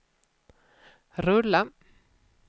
rulla